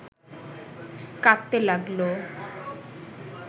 কাঁদতে লাগল